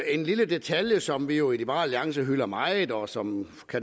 en lille detalje som vi jo i liberal alliance hylder meget og som